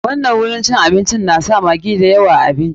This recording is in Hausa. Wannan wajen cin abincin na sa maggi da yawa a abinci.